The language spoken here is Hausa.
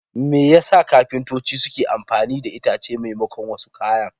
Me yasa kafintoci suke amfani da itace maimakon wasu kayan?